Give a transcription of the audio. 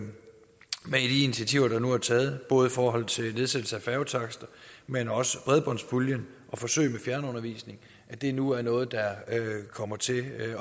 initiativer der nu er taget både i forhold til nedsættelse af færgetakster men også bredbåndspuljen og forsøg med fjernundervisning og at det nu er noget der kommer til